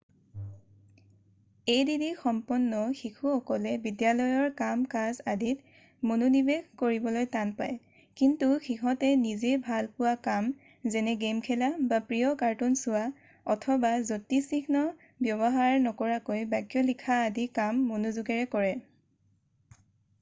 add সম্পন্ন শিশুসকলে বিদ্যালয়ৰ কাম কাজ আদিত মনোনিৱেশ কৰিবলৈ টান পায় কিন্তু সিহঁতে নিজে ভাল পোৱা কাম যেনে গে'ম খেলা বা প্ৰিয় কাৰ্টুন চোৱা অথবা যতিচিহ্ন ব্যৱহাৰ নকৰাকৈ বাক্য লিখা আদি কাম মনোযোগেৰে কৰে